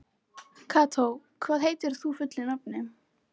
Kató, hvað heitir þú fullu nafni?